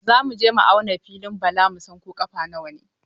Za mu je mu auna filin Bala mu san ko ƙafa nawa ne.